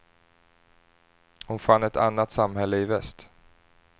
Hon fann ett annat samhälle i väst.